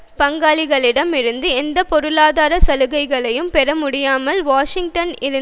இரண்டு ஆயிரத்தி ஒன்பதில் ஆசிய வணிக பங்காளிகளிடம் இருந்து எந்த பொருளாதார சலுகைகளையும் பெற